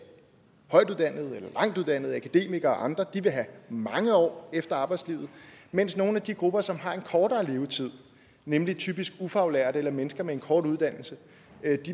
højtuddannede akademikere og andre vil have mange år efter endt arbejdsliv mens nogle af de grupper som har en kortere levetid nemlig typisk ufaglærte eller mennesker med en kort uddannelse